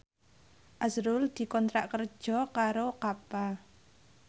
azrul dikontrak kerja karo Kappa